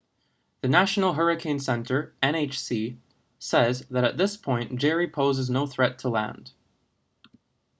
the national hurricane center nhc says that at this point jerry poses no threat to land